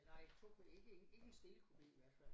Nej tog ikke ikke en stillekupé i hvert fald